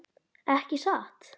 Ekki satt?